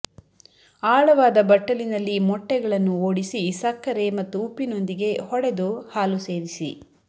ಆಳವಾದ ಬಟ್ಟಲಿನಲ್ಲಿ ಮೊಟ್ಟೆಗಳನ್ನು ಓಡಿಸಿ ಸಕ್ಕರೆ ಮತ್ತು ಉಪ್ಪಿನೊಂದಿಗೆ ಹೊಡೆದು ಹಾಲು ಸೇರಿಸಿ